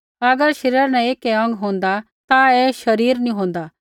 अगर शरीरा न ऐकै अौंग होन्दा ता ऐ शरीर नी होन्दा